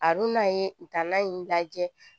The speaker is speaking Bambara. A dun n'a ye u taara in lajɛ